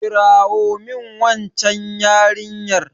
kirawo min waccan yarinyar!